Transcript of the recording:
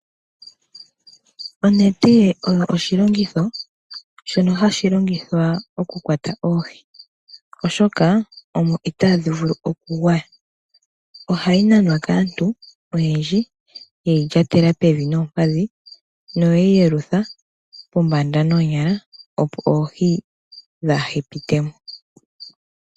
Onete oyo oshilongitho shono hashi longithwa okukwata oohi oshoka omo itadhi vulu okugwaya, ohayi nanwa kaantu oyendji yeyi lyatela pevi noompadhi noyeyi yelutha pombanda noonyala opo oohi kadhi pitemo.